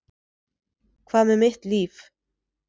Hvað með mitt líf?